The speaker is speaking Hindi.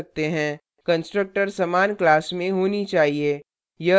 constructors समान class में होनी चाहिए